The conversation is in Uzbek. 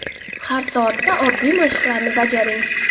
Har soatda oddiy mashqlarni bajaring.